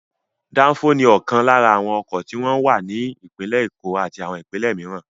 Dáńfó ni ọ̀kan lára àwọn ọkọ̀ tí wọ́n ń wà ní Èkó àti àwọn ìpínlẹ̀ mìíràn.